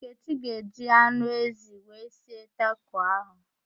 Nkechi ga-eji anụ ezi wee sie tako ahụ